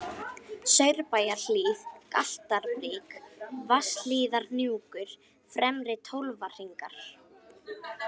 Saurbæjarhlíð, Galtarbrík, Vatnshlíðarhnjúkur, Fremri-Tólfahringar